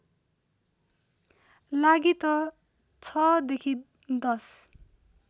लागि त ६ देखि १०